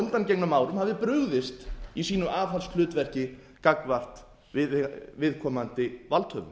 undangengnum árum hafi brugðist í sínu aðhaldshlutverki gagnvart viðkomandi valdhöfum